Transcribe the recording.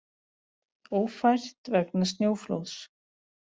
Ófært vegna snjóflóðs